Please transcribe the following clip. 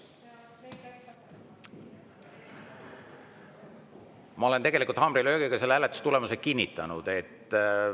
Ma olen haamrilöögiga selle hääletustulemuse kinnitanud.